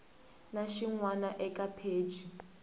na xin wana eka pheji